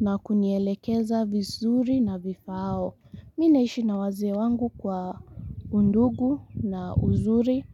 Na kunielekeza vizuri na vifaao mi naishi na wazee wangu kwa undugu na uzuri.